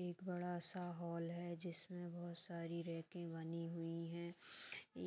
एक बड़ा सा हॉल है जिसमें बहुत सारी रैके बनी हुई हैं